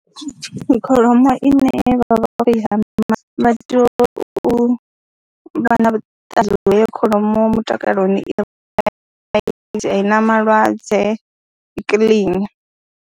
Kholomo ine vha vha tea u vha vho i hama vha tea u vha na vhuṱanzi ha uri heyo kholomo mutakaloni i right, i na malwadze, i kiḽini.